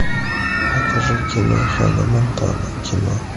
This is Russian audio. покажи кино ханна монтана кино